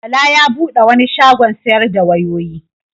Bala ya bude wani shagon sayar da wayoyi.